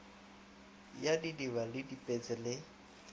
ya didiba le dipetse le